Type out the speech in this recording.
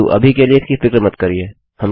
परन्तु अभी के लिए इसकी फिक्र मत करिये